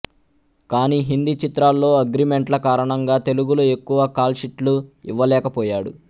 కానీ హిందీ చిత్రాల్లో అగ్రిమెంట్ల కారణంగా తెలుగులో ఎక్కువ కాల్షీట్లు ఇవ్వలేకపోయాడు